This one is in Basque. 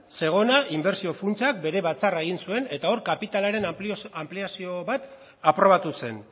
zegonak inbertsio funtsak bere batzarra egin zuen eta hor kapitalaren anpliazio bat aprobatu zen